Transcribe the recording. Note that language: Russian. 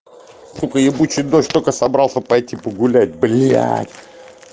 сука ебучий дождь только собрался пойти погулять блять